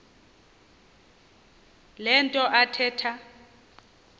le nto athetha